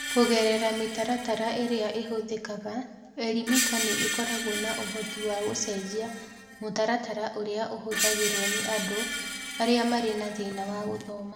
Kũgerera mĩtaratara ĩrĩa ĩhũthĩkaga, Elimika nĩ ĩkoragwo na ũhoti wa gũcenjia mũtaratara ũrĩa ũhũthagĩrũo nĩ andũ arĩa marĩ na thĩna wa gũthoma.